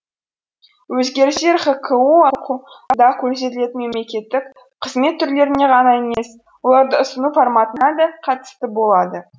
өзгерістер хқко да көрсетілетін мемлекеттік қызмет түрлеріне ғана емес оларды ұсыну форматына да қатысты болады